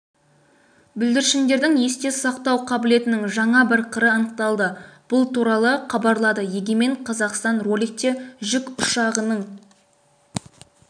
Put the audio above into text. бүлдіршіндердің есте сақтау қабілетінің жаңа бір қыры анықталды бұл туралы хабарлады егемен қазақстан роликте жүк ұшағының